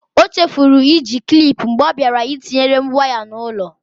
O chefuru iji klip mgbe ọ bịara ịtinyere m waya n'ụlọ.